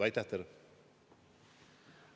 Aitäh teile!